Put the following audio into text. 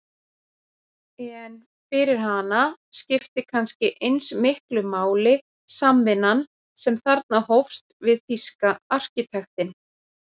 En fyrir hana skipti kannski eins miklu máli samvinnan sem þarna hófst við þýska arkitektinn